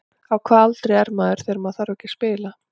Á hvaða aldri er maður þegar maður þarf ekki að spila?